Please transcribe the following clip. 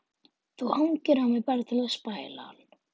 Þú hangir á mér bara til að spæla hann.